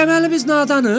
Deməli biz nadanıq?